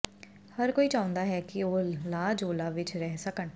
ਹਰ ਕੋਈ ਚਾਹੁੰਦਾ ਹੈ ਕਿ ਉਹ ਲਾ ਜੋਲਾ ਵਿਚ ਰਹਿ ਸਕਣ